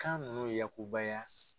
Kan nunnu yakubaya